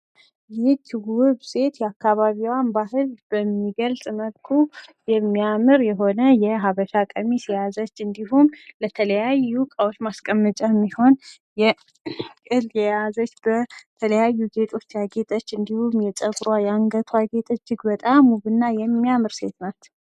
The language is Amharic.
ይህችው ውብ ሴት የአካባቢዋን በባህል በሚገልጽ መልኩ የሚያምር የሆነ የሀበሻ ቀሚስ የያዘች እንዲሁም፤ ለተለያዩ እቃዎች ማስቀመጫ የሚሆን እንደ ያዘች በ ተለያዩ ጌጦች ያጌጠች እንዲሁም የፀጉሯ ያንገትዋ ጌጥ እጅግ በጣም ውብ እና የሚያምር ሴት ናት።